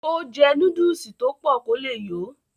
ó jẹ́ núdùsì tó pọ̀ kó le yó